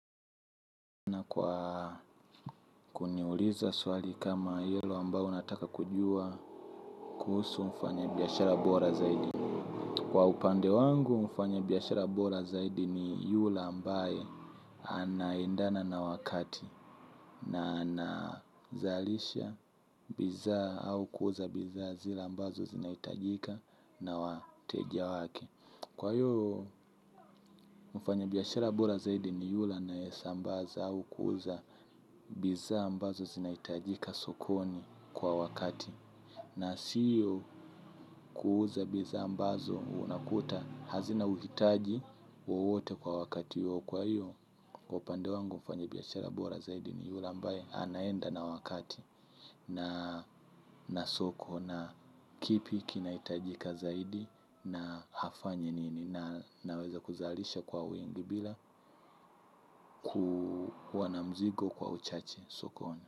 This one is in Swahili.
Kwa kuniuliza swali kama ilo ambao unataka kujua kuhusu mfanya biashara bora zaidi kwa upande wangu mfanya biashara bora zaidi ni yula ambaye anaindana na wakati. Na anazalisha biza au kuuza biza zila ambazo zinaitajika na wateja wake. Kwa hiyo mfanya biashara bora zaidi ni yula anayesambaza au kuuza biza ambazo zinaitajika sokoni kwa wakati na siyo kuuza biza ambazo unakuta hazina uhitaji wowote kwa wakati huo. Kwa hiyo, kwa upande wangu mfanyi biashara bora zaidi ni yula ambae anaenda na wakati na soko na kipi kinaitajika zaidi na hafanyi nini na naweza kuzalisha kwa wingi bila kuwa na mzigo kwa uchache sokoni.